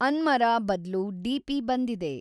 ಅನ್ಮರಾ ಬದ್ಲು ಡಿ.ಪಿ. ಬಂದಿದೆ